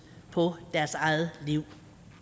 på deres eget liv